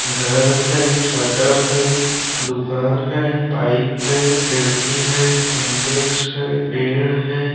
घर है शटर है दुकान है पाइप है खिड़की है सिंटेक्स है पेड़ है।